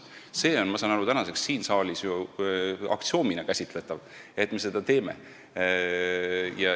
Ma saan aru, et see on tänaseks siin saalis ju aksioomina käsitletav, et me seda teeme.